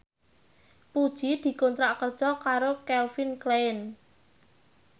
Puji dikontrak kerja karo Calvin Klein